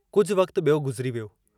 कुझु वक़्तु ॿियो गुज़िरी वियो।